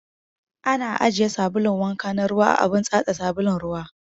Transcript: Ana ajiye sabulun wanka na ruwa a abun tatsa sabulun ruwa